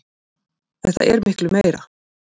Þetta er miklu meira.